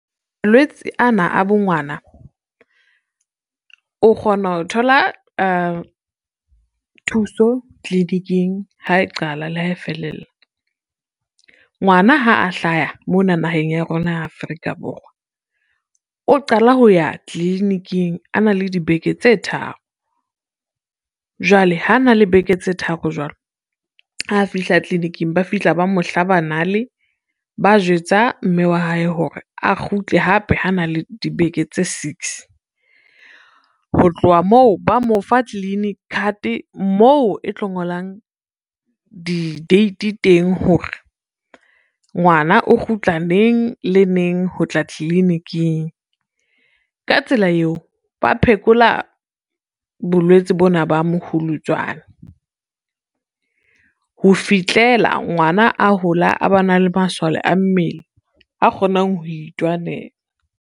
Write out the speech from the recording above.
Malwetse ana a bo ngwana, o kgona ho thola thuso tliliniking ha e qala le ha e felella. Ngwana ha a hlaya mona naheng ya rona ya Afrika Borwa o qala ho ya tliliniking a na le dibeke tse tharo, jwale ha na le beke tse tharo jwalo ha fihla tliliniking ba fihla ba mo hlaba nale, ba jwetsa mme wa hae hore a kgutle hape ha na le dibeke tse six. Ho tlowa moo ba mo fa clinic card moo e tlo ngolang di-date teng hore, ngwana o kgutla neng le neng ho tla tliliniking ka tsela eo, ba phekola bolwetse bona ba mohulutswane, ho fihlela ngwana a hola a ba na le masole a mmele a kgonang ho itwanela.